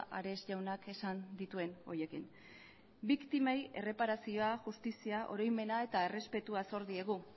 ares jaunak esan dituen horiekin biktimei erreparazioa justizia oroimena eta errespetua zor diegu